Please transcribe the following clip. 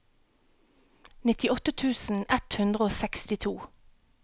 nittiåtte tusen ett hundre og sekstito